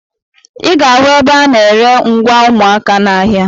Ị ga-ahụ ebe ha na-ere ngwa ụmụaka n'ahịa.